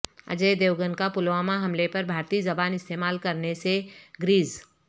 اجے دیوگن کا پلوامہ حملے پر بھارتی زبان استعمال کرنے سے گریز